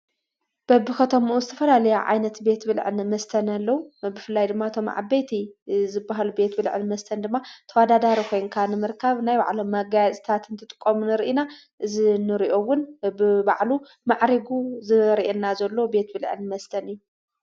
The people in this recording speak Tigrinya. በብከተምኡ ዝተፈላለያ ዓይነት ቤት ብልዕን መስተን አለዉ። ብፍላይ ድማ እቶም ዓበይቲ ዝበሃሉ ቤት ብልዕን መስተን ድማ ተወዳዳሪ ኾይንካ ንምርካብ ናይ ባዕሎም መጋየፅትታት እንትትጥቆሙ ንርኢ ኢና። እዚንሪኦ እውን በብባዕሉ ማዕሪጉ ዘሪአና ዘሎ ቤት ብልዕን መስተን እዩ።